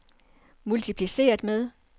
multipliceret med